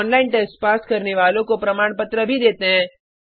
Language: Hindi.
ऑनलाइन टेस्ट पास करने वालों को प्रमाणपत्र भी देते हैं